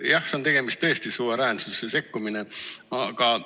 Aga jah, siin on tegemist tõesti suveräänsusesse sekkumisega.